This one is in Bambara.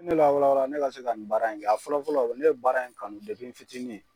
Ne la wala wala ne ka se ka nin baara in kɛ a fɔlɔ fɔlɔ ne ye baara in kanu depi n fitinin.